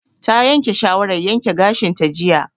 Ta yanke shawaran yanke gashin ta jiya